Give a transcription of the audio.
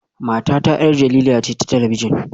Matata 'yar jarida ce ta talabijin